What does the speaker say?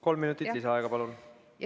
Kolm minutit lisaaega, palun!